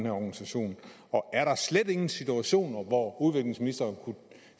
organisation er der slet ingen situationer hvor udviklingsministeren kunne